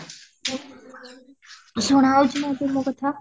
ସୁନା ଯାଉଛି ତାଂକୁ ମୋ କଥା?